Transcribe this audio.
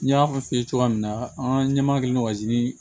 N y'a fɔ i ye cogoya min na an ɲɛma kelen dɔ sigi